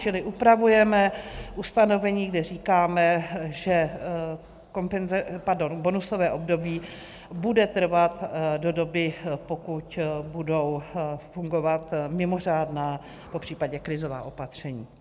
Čili upravujeme ustanovení, kde říkáme, že bonusové období bude trvat do doby, pokud budou fungovat mimořádná, popřípadě krizová opatření.